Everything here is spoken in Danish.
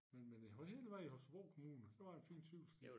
Men men på hele vejen i Holstebro kommune der var en fin cykelsti